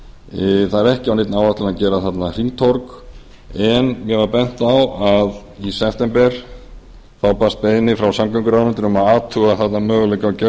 var það er ekki á neinni áætlun að gera þarna hringtorg en mér var bent á að í september hefði borist beiðni frá samgönguráðuneytinu um að athuga þarna möguleika á